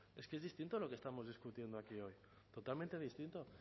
es que es distinto lo que estamos discutiendo aquí hoy totalmente distinto